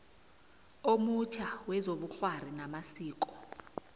omutjha wezobukghwari namasiko